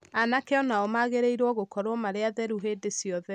Anake o nao magĩrĩirũo gũkorũo marĩ atheru hĩndĩ ciothe.